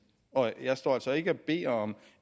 jeg står altså ikke og beder om